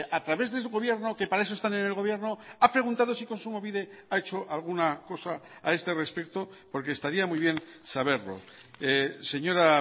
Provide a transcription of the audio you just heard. a través de su gobierno que para eso están en el gobierno ha preguntado si kontsumobide ha hecho alguna cosa a este respecto porque estaría muy bien saberlo señora